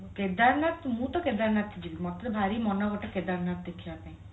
କେଦାରନାଥ ମୁଁ ତ କେଦାରନାଥ ଯିବୀ ମତେ ତ ଭାରି ମନ ଗୋଟେ କେଦାରନାଥ ଦେଖିଆ ପାଇଁ